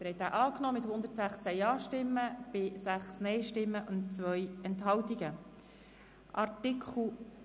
Sie haben dem Artikel mit 116 Ja- gegen 6 Nein-Stimmen bei 2 Enthaltungen zugestimmt.